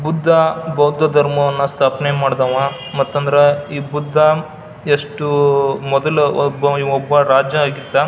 ಬುದ್ಧ ಬೌದ್ಧ ಧರ್ಮವನ್ನ ಸ್ಥಾಪನೆ ಮಾಡಿದವ ಮತ್ತಂದ್ರ ಈ ಬುದ್ಧ ಎಷ್ಟು ಮೊದಲು ಒಬ್ಬ ರಾಜನಾಗಿದ್ದ.